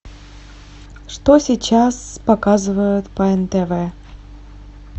что сейчас показывают по нтв